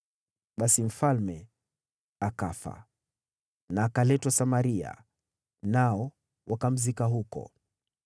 Basi mfalme akafa na akaletwa Samaria, nao wakamzika huko.